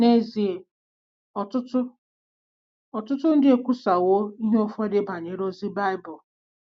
N’ezie, ọtụtụ ọtụtụ ndị ekwusawo ihe ụfọdụ banyere ozi Bible.